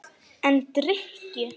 En drykkju